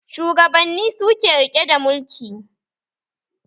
Shugabanni suke rike da mulki